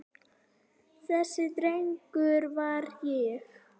Þessi drengur var ég.